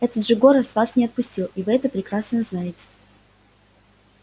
это же город вас не отпустил и вы это прекрасно знаете